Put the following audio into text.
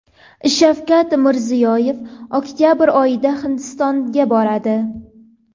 Shavkat Mirziyoyev oktabr oyida Hindistonga boradi.